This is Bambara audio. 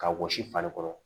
Ka wɔsi fali kɔrɔ